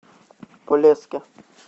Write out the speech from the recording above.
полесске